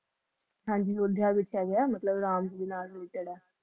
ਹਨ ਜੀ ਅਯੁਧਿਆ ਵਿਚ ਹੈਗੀ ਨਾ ਰਾਮ ਦੇ ਨਾਲ ਜੇਰਾ